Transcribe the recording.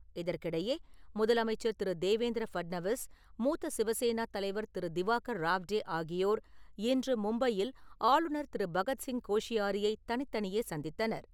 இதற்கிடையே, முதலமைச்சர் திரு. தேவேந்திர ஃபட்நவிஸ், மூத்த சிவசேனா தலைவர் திரு. திவாகர் ராவ்டே ஆகியோர் இன்று மும்பையில் ஆளுநர் திரு. பகத்சிங் கோஷியாரியை தனித்தனியே சந்தித்தனர்.